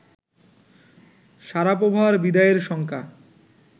শারাপোভার বিদায়ের শঙ্কা